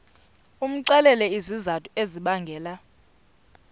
umxelele izizathu ezibangela